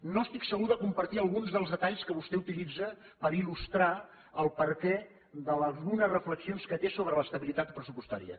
no estic segur de compartir alguns dels detalls que vostè utilitza per il·lustrar el perquè d’algunes reflexions que té sobre l’estabilitat pressupostària